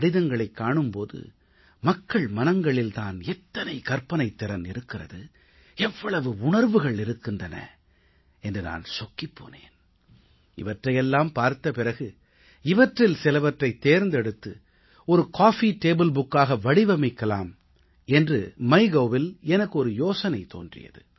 கடிதங்களைக் காணும் போது மக்கள் மனங்களில் தான் எத்தனை கற்பனைத் திறன் இருக்கிறது எவ்வளவு உணர்வுகள் இருக்கின்றன என்று நான் சொக்கிப் போனேன் இவற்றையெல்லாம் பார்த்த பிறகு இவற்றில் சிலவற்றைத் தேர்ந்தெடுத்து ஒரு காபி டேபிள் புத்தகமாக காஃபி டேபிள் புக் வடிவமைக்கலாம் என்று mygovஇல் எனக்கு ஒரு யோசனை தோன்றியது